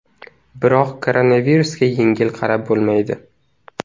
Biroq koronavirusga yengil qarab bo‘lmaydi.